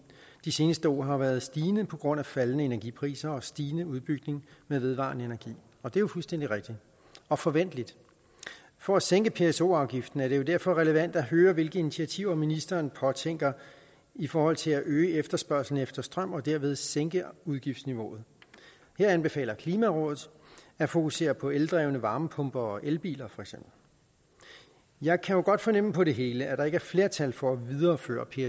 de seneste år har været stigende på grund af faldende energipriser og stigende udbygning med vedvarende energi og det er jo fuldstændig rigtigt og forventeligt for at sænke pso afgiften er det derfor relevant at høre hvilke initiativer ministeren påtænker i forhold til at øge efterspørgslen efter strøm og derved sænke udgiftsniveauet her anbefaler klimarådet at fokusere på eldrevne varmepumper og elbiler jeg kan jo godt fornemme på det hele at der ikke er flertal for at videreføre